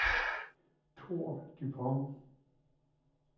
Thor Dupont